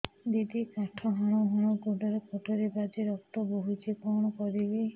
ଦିଦି କାଠ ହାଣୁ ହାଣୁ ଗୋଡରେ କଟୁରୀ ବାଜି ରକ୍ତ ବୋହୁଛି କଣ କରିବି